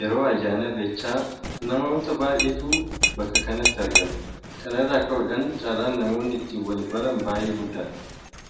Yeroo ayyaana irreechaa namoota baay'eetu bakka sanatti argama. Kana irraa ka'uudhaan carraan namoonni ittiin wal-baran baay'ee guddaadha.